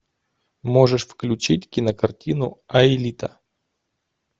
можешь включить кинокартину аэлита